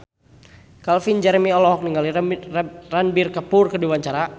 Calvin Jeremy olohok ningali Ranbir Kapoor keur diwawancara